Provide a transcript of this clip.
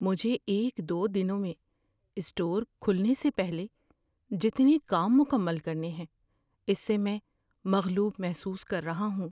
مجھے ایک دو دنوں میں اسٹور کھلنے سے پہلے جتنے کام مکمل کرنے ہیں اس سے میں مغلوب محسوس کر رہا ہوں۔